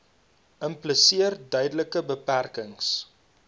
impliseer duidelike beperkings